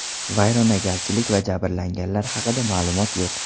Vayronagarchilik va jabrlanganlar haqida ma’lumot yo‘q.